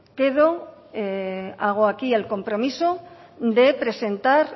hago aquí el compromiso de presentar